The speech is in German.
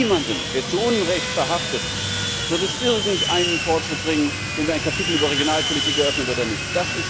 Niemandem der zu Unrecht Verhafteten wird es irgendeinen Fortschritt bringen, wenn wir ein Kapitel über Regionalpolitik eröffnen oder nicht.